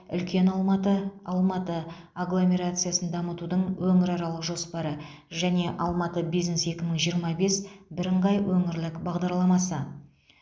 үлкен алматы алматы агломерациясын дамытудың өңіраралық жоспары және алматы бизнес екі мың жиырма бес бірыңғай өңірлік бағдарламасы